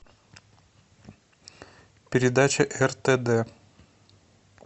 передача ртд